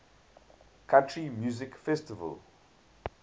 country music festival